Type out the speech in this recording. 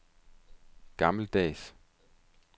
gammeldags